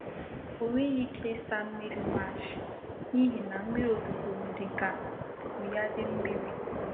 Ọ nweghị ike ịsa nri mash n'ihi na mmiri ozuzo mere ka nkụ ya dị mmiri.